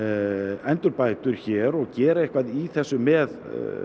endurbætur hér og gera eitthvað í þessu með